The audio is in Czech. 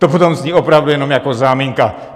To potom zní opravdu jenom jako záminka.